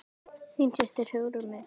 Þín systir Hugrún Lind.